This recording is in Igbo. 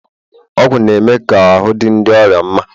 ọgwụ na-eme ka ahụ́ dị ndị ọrịa mma